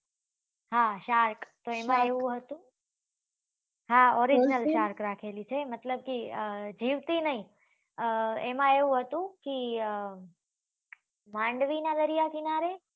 હા shark હા હા orignel shark રાખેલી છે મતલબ કે જીવતી નહિ અ એમાં એવું હતું કે ભંડવી નાં દરિયા કિનારે